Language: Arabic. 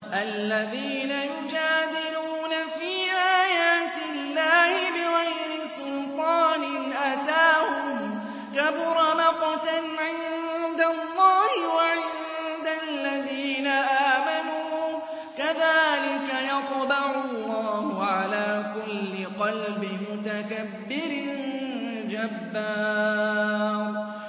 الَّذِينَ يُجَادِلُونَ فِي آيَاتِ اللَّهِ بِغَيْرِ سُلْطَانٍ أَتَاهُمْ ۖ كَبُرَ مَقْتًا عِندَ اللَّهِ وَعِندَ الَّذِينَ آمَنُوا ۚ كَذَٰلِكَ يَطْبَعُ اللَّهُ عَلَىٰ كُلِّ قَلْبِ مُتَكَبِّرٍ جَبَّارٍ